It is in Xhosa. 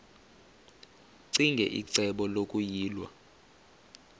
ccinge icebo lokuyilwa